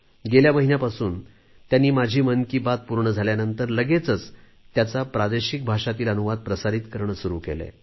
गेल्या महिन्यापासूनच त्यांनी माझी मन की बात पूर्ण झाल्यानंतर लगेचच त्याचा प्रादेशिक भाषांतील अनुवाद प्रसारीत करणे सुरू केले आहे